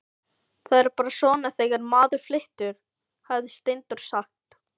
Það er bara svona þegar maður flytur, hafði Steindór sagt.